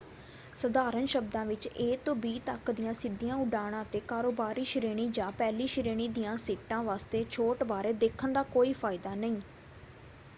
ਸਧਾਰਨ ਸ਼ਬਦਾਂ ਵਿੱਚ ਏ ਤੋਂ ਬੀ ਤੱਕ ਦੀਆਂ ਸਿੱਧੀਆਂ ਉਡਾਣਾਂ 'ਤੇ ਕਾਰੋਬਾਰੀ ਸ਼੍ਰੇਣੀ ਜਾਂ ਪਹਿਲੀ ਸ਼੍ਰੇਣੀ ਦੀਆਂ ਸੀਟਾਂ ਵਾਸਤੇ ਛੋਟ ਬਾਰੇ ਦੇਖਣ ਦਾ ਕੋਈ ਫਾਇਦਾ ਨਹੀਂ।